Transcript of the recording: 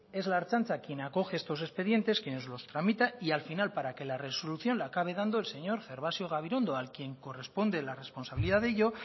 es la ertzaintza quien acoge estos expedientes quienes los tramitan y al final para que la resolución la acabe dando el señor gervasio gabirondo a quien corresponde la responsabilidad de ello